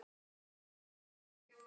Honum lýkur ekki fyrr.